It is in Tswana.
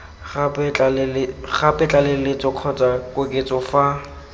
gape tlaleletso kgotsa koketso fa